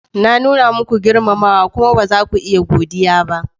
Na nuna muku girmamawa kuma ba za ku iya godiya ba.